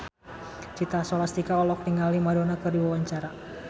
Citra Scholastika olohok ningali Madonna keur diwawancara